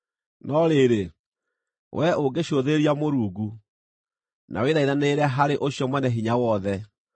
No rĩrĩ, wee ũngĩcũthĩrĩria Mũrungu na wĩthaithanĩrĩre harĩ Ũcio Mwene-Hinya-Wothe,